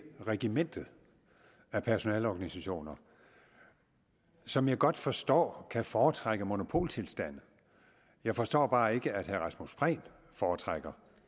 regimentet af personaleorganisationer som jeg godt forstår kan foretrække monopoltilstande jeg forstår bare ikke at herre rasmus prehn foretrækker